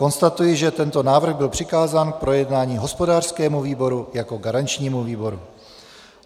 Konstatuji, že tento návrh byl přikázán k projednání hospodářskému výboru jako garančnímu výboru.